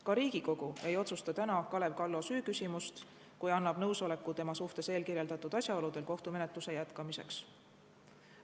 Ka Riigikogu ei otsusta täna Kalev Kallo süüküsimust, kui annab nõusoleku tema suhtes eelkirjeldatud asjaoludel kohtumenetluse jätkamiseks.